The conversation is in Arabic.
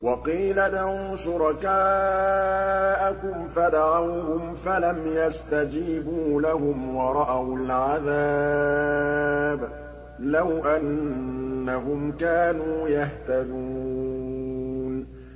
وَقِيلَ ادْعُوا شُرَكَاءَكُمْ فَدَعَوْهُمْ فَلَمْ يَسْتَجِيبُوا لَهُمْ وَرَأَوُا الْعَذَابَ ۚ لَوْ أَنَّهُمْ كَانُوا يَهْتَدُونَ